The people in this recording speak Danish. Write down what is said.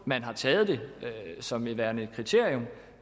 man har taget det som værende et kriterium